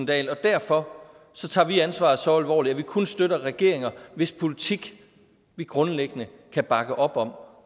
dahl og derfor tager vi ansvaret så alvorligt at vi kun støtter regeringer hvis politik vi grundlæggende kan bakke op om